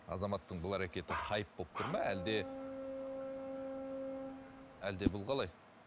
азаматтың бұл әрекеті хайп болып тұр ма әлде әлде бұл қалай